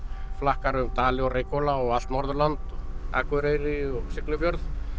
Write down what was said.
flakkar um Dali og Reykhóla og allt Norðurland og Akureyri og Siglufjörð